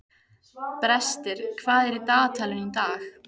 Brestir, hvað er í dagatalinu í dag?